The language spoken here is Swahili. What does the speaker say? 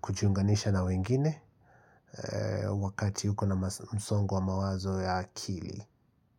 kujiunganisha na wengine Wakati huko na msongo mawazo ya akili.